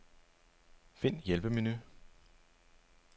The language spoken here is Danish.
Find hjælpemenu.